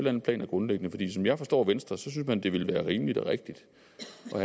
andet plan er grundlæggende for som jeg forstår venstre synes man det ville være rimeligt og rigtigt